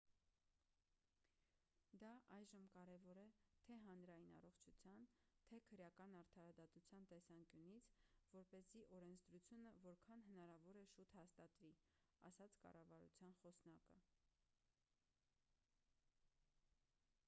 «դա այժմ կարևոր է թե՛ հանրային առողջության թե՛ քրեական արդարադատության տեսանկյունից որպեսզի օրենսդրությունը որքան հնարավոր է շուտ հաստատվի,- ասաց կառավարության խոսնակը:»